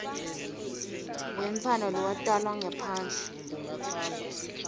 wemntfwana lowatalwa ngaphandle